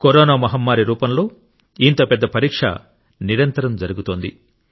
corona మహమ్మారి రూపంలో ఇంత పెద్ద పరీక్ష నిరంతరం జరుగుతోంది